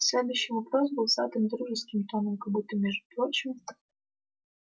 следующий вопрос был задан дружеским тоном как будто между прочим